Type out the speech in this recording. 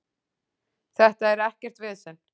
Þetta er ekkert vesen.